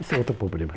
Esse é outro problema.